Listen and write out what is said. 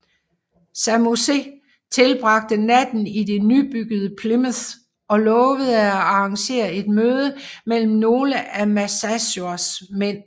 Samoset tilbragte natten i det nybyggede Plymouth og lovede at arrangere et møde med nogle af Massasois mænd